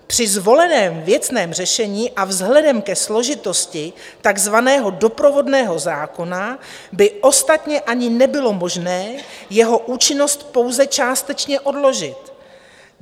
Při zvoleném věcném řešení a vzhledem ke složitosti takzvaného doprovodného zákona by ostatně ani nebylo možné jeho účinnost pouze částečně odložit.